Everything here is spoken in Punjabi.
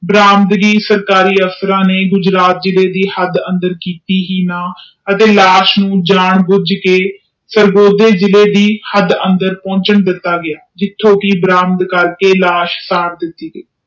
ਰੰਦੇ ਸਰਕਾਰੀ ਅਫਸਰ ਨੇ ਲਾਸ਼ ਨੂੰ ਜਾਨ ਭੁੱਜ ਕੇ ਸਰਵੋਦਯਾ ਜਿਲੇ ਦੇ ਹਾੜ ਅੰਦਰ ਪੁਣਛਾਣ ਦਿਤਾ ਗਿਆ ਜਿਥੋਂ ਕਿ ਪ੍ਰਾਪਤ ਕਰਕੇ ਲਾਸ਼